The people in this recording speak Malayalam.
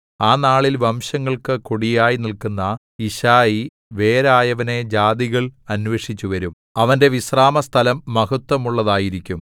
ആ നാളിൽ വംശങ്ങൾക്കു കൊടിയായി നില്ക്കുന്ന യിശ്ശായിവേരായവനെ ജാതികൾ അന്വേഷിച്ചുവരും അവന്റെ വിശ്രാമസ്ഥലം മഹത്ത്വമുള്ളതായിരിക്കും